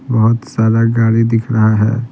बहुत सारा गाड़ी दिख रहा है।